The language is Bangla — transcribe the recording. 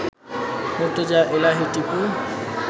মর্তুজা এলাহি টিপু